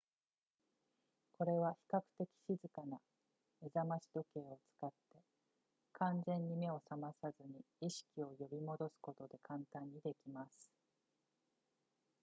これは比較的静かな目覚まし時計を使って完全に目を覚まさずに意識を呼び戻すことで簡単にできます